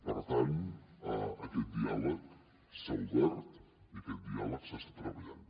per tant aquest diàleg s’ha obert i aquest diàleg s’està treballant